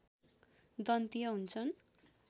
दन्तीय हुन्छन्